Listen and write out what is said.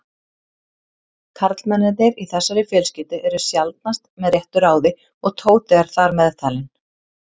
Karlmennirnir í þessari fjölskyldu eru sjaldnast með réttu ráði og Tóti er þar meðtalinn.